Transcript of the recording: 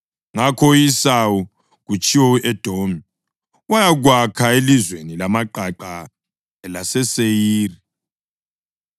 Ngakho u-Esawu (kutshiwo u-Edomi) wayakwakha elizweni lamaqaqa elaseSeyiri.